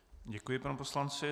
Děkuji panu poslanci.